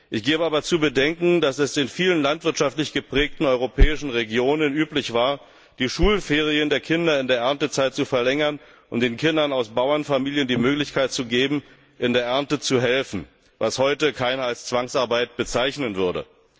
Ich gebe aber zu bedenken, dass es in vielen landwirtschaftlich geprägten europäischen Regionen üblich war, die Schulferien der Kinder in der Erntezeit zu verlängern, um den Kindern aus Bauernfamilien die Möglichkeit zu geben, bei der Ernte zu helfen, was heute keiner als Zwangsarbeit bezeichnen würde.